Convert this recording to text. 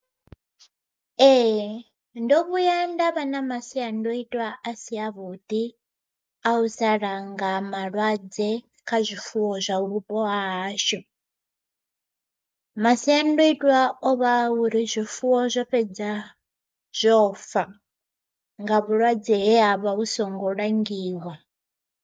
Ee ndo vhuya nda vha na masiandoitwa a si a vhuḓi a u sa langa malwadze kha zwifuwo zwau vhupo hahashu. Masiandoitwa o vha uri zwifuwo zwo fhedza zwo fa, nga vhulwadze he havha hu songo langiwa.